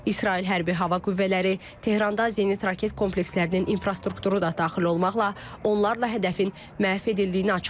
İsrail Hərbi Hava Qüvvələri Tehranda Zenit raket komplekslərinin infrastrukturu da daxil olmaqla, onlarla hədəfin məhv edildiyini açıqlayıb.